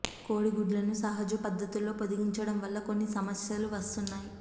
కోడి గుడ్లను సహజ పద్ధుతుల్లో పొదిగించడం వల్ల కొన్ని సమస్యలు వస్తున్నాయి